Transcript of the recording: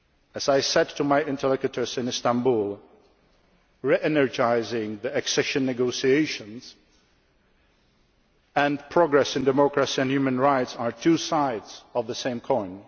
As I said to my interlocutors in Istanbul, we are energising the accession negotiations, and progress in democracy and human rights are two sides of the same coin.